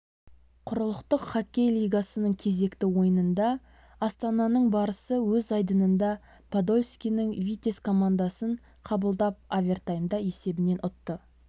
құрлықтық хоккей лигасының кезекті ойынында астананың барысы өз айдынында подольскінің витязь командасын қабылдап овертаймда есебімен ұтты